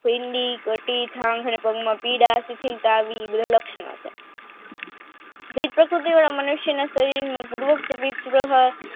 પગમાં પીડા અતિશીલતા આવવી આ બધા લક્ષણો છે દીપકે મનુષ્યના શરીરમાં પ્રુવ શરીરસ્થર